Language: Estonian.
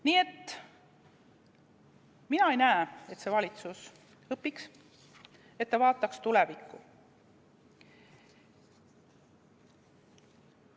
Nii et mina ei näe, et see valitsus õpiks, et ta vaataks tulevikku.